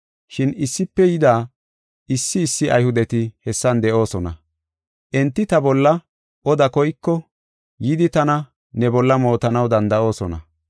Shin Iisepe yida issi issi Ayhudeti hessan de7oosona; enti ta bolla oda koyko yidi tana ne bolla mootanaw danda7oosona.